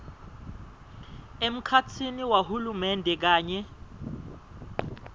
emkhatsini wahulumende kanye